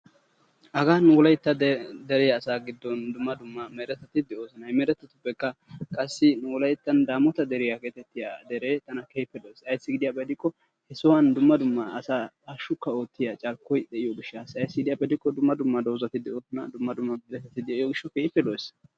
Hagan wolaytta dere asaa giddon dumma dumma meretati de'oosona. He meretattuppekka qassi wolayttan daamoota deriya geetittiya deree tana keehippe lo''ees. Aybissi gidiyaba gidikko he sohuwan dumma dumma asaa hashshukka oottiya carkkoy de'iyo gishshaassa ayssi gidiyaba gidikko dumma dumma doozzati de'oosona dumma dumma mittati de'iyo gishshawu keehippe lo''ees.